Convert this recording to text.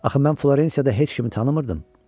Axı mən Florensiyada heç kimi tanımırdım.